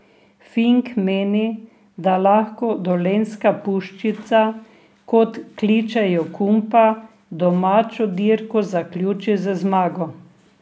Fink meni, da lahko Dolenjska puščica, kot kličejo Kumpa, domačo dirko zaključi z zmago.